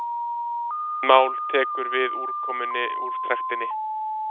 lítið mál tekur við úrkomunni úr trektinni